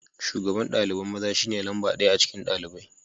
Shugaban dalibain maza shine lamba daya a cikin dalibain.